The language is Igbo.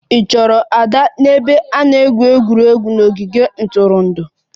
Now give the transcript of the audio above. Ị chọrọ Ada n'ebe a na-egwu egwuregwu n'ogige ntụrụndụ?